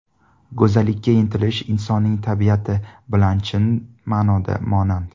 Go‘zallikka intilish insonning tabiati bilan chin ma’noda monand.